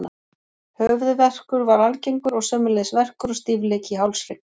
Höfuðverkur var algengur og sömuleiðis verkur og stífleiki í hálshrygg.